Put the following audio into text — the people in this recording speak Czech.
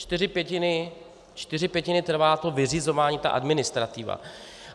Čtyři pětiny trvá to vyřizování, ta administrativa.